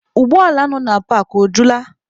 Ụgbọ ala nọ na paakị, o jula?